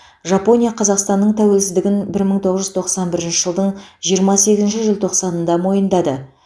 жапония қазақстанның тәуелсіздігін бір мың тоғыз жүз тоқсан бірінші жылдың жиырма сегізінші желтоқсанында мойындады